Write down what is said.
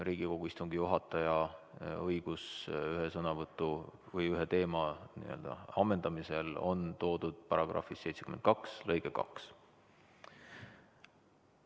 Riigikogu istungi juhataja õigus ühe sõnavõtu või ühe teema ammendamisel on toodud § 72 lõikes 2.